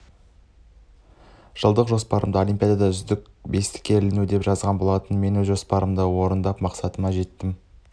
жылдық жоспарыма олимпиадада үздік бестікке іліну деп жазған болатынмын мен өз жоспарымды орындап мақсатыма жеттім